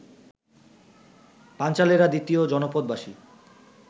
পাঞ্চালেরা দ্বিতীয় জনপদবাসী